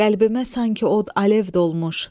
qəlbimə sanki od alev dolmuş.